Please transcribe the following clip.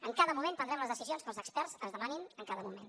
en cada moment prendrem les decisions que els experts ens demanin en cada moment